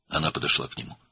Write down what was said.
O, ona yaxınlaşdı.